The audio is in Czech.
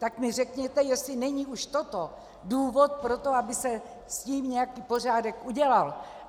Tak mi řekněte, jestli není už toto důvod pro to, aby se s tím nějaký pořádek udělal.